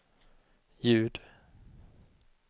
ljud